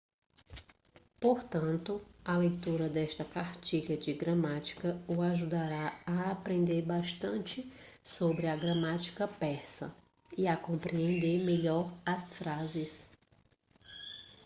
portanto a leitura desta cartilha de gramática o ajudará a aprender bastante sobre a gramática persa e a compreender melhor as frases